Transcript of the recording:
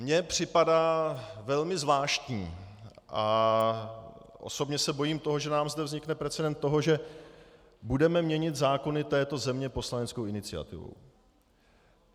Mně připadá velmi zvláštní a osobně se bojím toho, že nám zde vznikne precedent toho, že budeme měnit zákony této země poslaneckou iniciativou.